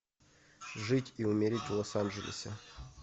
жить и умереть в лос анджелесе